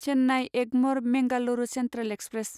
Chennai Egmore Mangalore central express